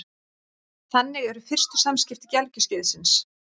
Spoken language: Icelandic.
Þannig eru fyrstu samskipti gelgjuskeiðsins.